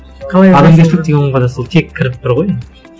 адамгершілік деген ұғымға да сол тек кіріп тұр ғой енді